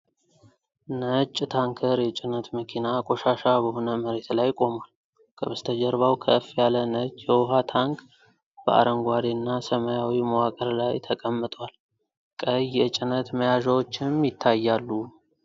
ነጭ ታንከር የጭነት መኪና ቆሻሻ በሆነ መሬት ላይ ቆሟል። ከበስተጀርባው ከፍ ያለ ነጭ የውሃ ታንክ በአረንጓዴና ሰማያዊ መዋቅር ላይ ተቀምጧል። ቀይ የጭነት መያዣዎችም ይታያሉ።